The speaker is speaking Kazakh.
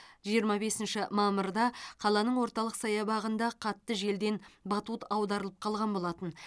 жиырма бесінші мамырда қаланың орталық саябағында қатты желден батут аударылып қалған болатын